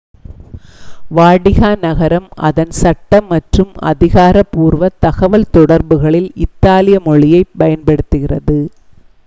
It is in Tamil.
வாடிகன் நகரம் அதன் சட்டம் மற்றும் அதிகாரப்பூர்வ தகவல் தொடர்புகளில் இத்தாலிய மொழியைப் பயன்படுத்துகிறது